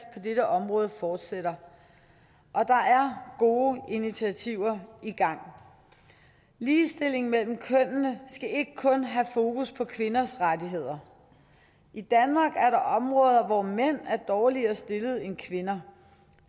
på dette område fortsætter og der gode initiativer i gang ligestilling mellem kønnene skal ikke kun have fokus på kvinders rettigheder i danmark er der områder hvor mænd er dårligere stillet end kvinder